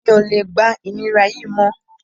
Mi ò lè gba ìnira yìí mọ́